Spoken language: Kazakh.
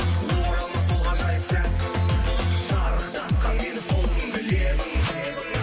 оралмас сол ғажайып сәт шарықтатқан мені сол күнгі лебің лебің